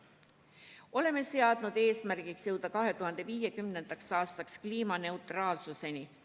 Oleme seadnud eesmärgiks jõuda 2050. aastaks kliimaneutraalsuseni.